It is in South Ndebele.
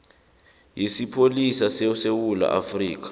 yesipholisa sesewula afrika